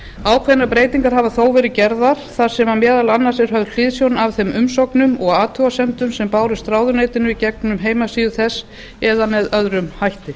ákveðnar breytingar hafa þó verið gerðar þar sem meðal annars er höfð hliðsjón af þeim umsóknum og athugasemdum sem bárust ráðuneytinu í gegnum heimasíðu þess eða með öðrum hætti